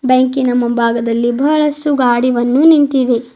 ಬ್ಯಾಂಕಿನ ಮುಂಭಾಗದಲ್ಲಿ ಬಹಳಷ್ಟು ಗಾಡಿವನ್ನು ನಿಂತಿದೆ.